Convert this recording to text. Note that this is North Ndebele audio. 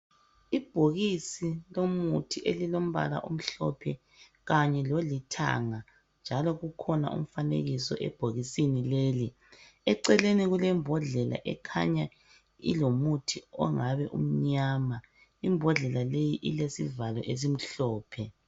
Ibhokisi lomuthi elilombala omhlophe kanye lolithanga njalo kukhona umfanekiso ebhokisini leli, eceleni kulembodlela ekhanya ilomuthi ongabe umnyama imbodlela leyi ilesivalo esimhlophe.